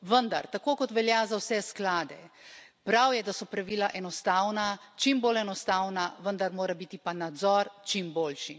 Vendar tako kot velja za vse skalde, prav je, da so pravila enostavna, čim bolj enostavna, vendar mora biti pa nadzor čim boljši.